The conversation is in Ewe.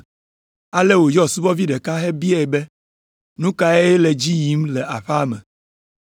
ale wòyɔ subɔvi ɖeka hebiae be nu kae le edzi yim le aƒea me?